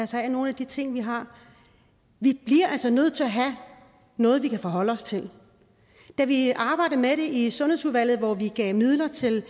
sig af nogle af de ting vi har vi bliver altså nødt til at have noget vi kan forholde os til da vi arbejdede med det i sundhedsudvalget hvor vi gav midler til